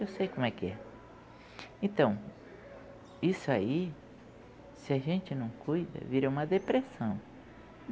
Eu sei como é que é. Então, isso aí, se a gente não cuida, vira uma depressão.